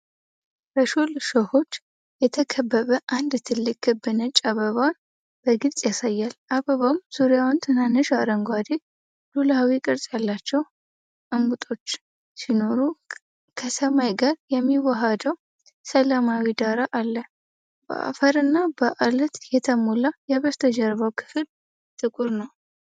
በሹል እሾሆች የተከበበ አንድ ትልቅ ክብ ነጭ አበባን በግልጽ ያሳያል። አበባው ዙሪያውን ትናንሽ፣ አረንጓዴ ሉላዊ ቅርጽ ያላቸው እምቡጦች ሲኖሩ፣ ከሰማይ ጋር የሚያዋህደው ሰላማዊ ዳራ አለ። በአፈርና በዐለት የተሞላው የበስተጀርባው ክፍል ጥቁር ነው።